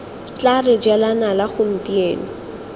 tla re jela nala gompieno